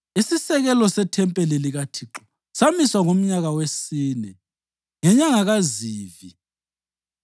Isisekelo sethempeli likaThixo samiswa ngomnyaka wesine ngenyanga kaZivi.